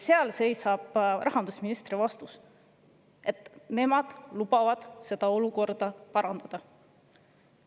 Seal seisab rahandusministri vastus, et nemad lubavad seda olukorda parandada.